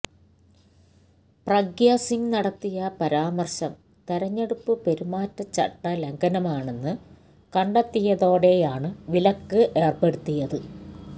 പ്രഗ്യ സിംഗ് നടത്തിയ പരാമർശം തെരഞ്ഞെടുപ്പ് പെരുമാറ്റച്ചട്ട ലംഘനമാണെന്ന് കണ്ടെത്തിയതോടെയാണ് വിലക്ക് ഏർപ്പെടുത്തിയത്